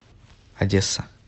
одесса